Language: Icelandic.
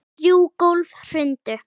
Þrjú gólf hrundu.